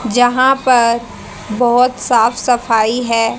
जहां पर बहोत साफ सफाई है।